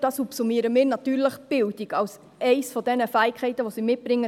Darunter subsumieren wir natürlich auch die Bildung als eine der Fähigkeiten, die sie mitbringen.